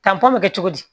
Tanpɔn bɛ kɛ cogo di